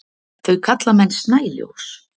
Þau kalla menn snæljós.